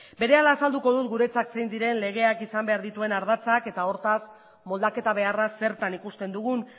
berehala azalduko dut guretzat zein diren legeak izan behar dituen ardatzak eta hortaz moldaketa beharra zertan ikusten dugun